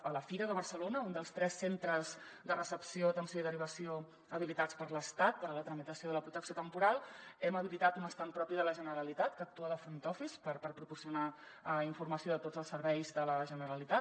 a la fira de barcelona un dels tres centres de recepció atenció i derivació habilitats per l’estat per a la tramitació de la protecció temporal hem habilitat un estand propi de la generalitat que actua de front office per proporcionar informació de tots els serveis de la generalitat